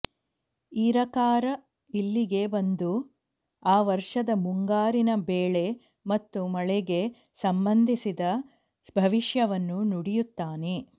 ಈರಕಾರ ಇಲ್ಲಿಗೆ ಬಂದು ಆ ವರ್ಷದ ಮುಂಗಾರಿನ ಬೆಳೆ ಮತ್ತು ಮಳೆಗೆ ಸಂಬಂಧಿಸಿದ ಭವಿಷ್ಯವನ್ನು ನುಡಿಯುತ್ತಾನೆ